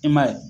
I m'a ye